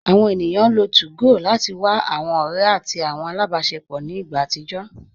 Awọn ènìyàn lọ́ 2gò láti wà awọn ọ̀rẹ̀ àti awọn alábásẹpọ̀ ní ìgbà àtìjọ